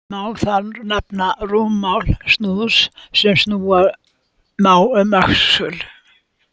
Má þar nefna rúmmál snúðs, sem snúa má um öxul.